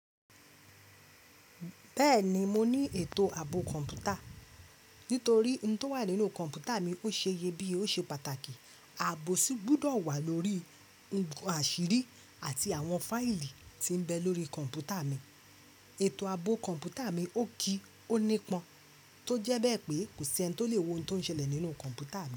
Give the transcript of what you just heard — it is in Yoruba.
Bẹ́ẹ̀ni mo ní ètò ààbò kọ̀ǹpútà. Nítorí ohun tó wà nínú kọ̀ǹpútà mi ó ṣe iyẹ biye oṣe pàtàkì, ààbò sì gbúdọ̀ wà lórí ohun àṣírí àti àwọn fáìlì tí ń bẹ lórí kọ̀ǹpútà mi. Ètò ààbò kọ̀ǹpútà mi ó kí ó nípọn, tó jẹ bẹ́ẹ̀ pé kò sí ẹni tó le wo ohun tó ń ṣẹlẹ̀ nínú kọ̀ǹpútà mi.